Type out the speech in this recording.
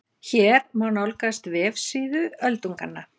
Hér má nálgast vefsíðu Öldunganna